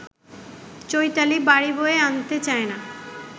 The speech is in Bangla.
চৈতালি বাড়ি বয়ে আনতে চায় না